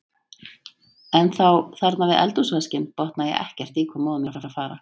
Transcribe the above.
En þá, þarna við eldhúsvaskinn, botnaði ég ekkert í hvað móðir mín var að fara.